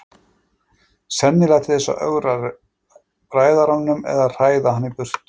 Sennilega til þess að ögra ræðaranum eða hræða hann í burtu.